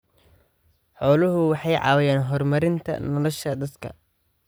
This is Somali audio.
Xooluhu waxay caawiyaan horumarinta nolosha dadka.